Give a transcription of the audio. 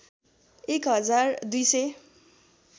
१ हजार २ सय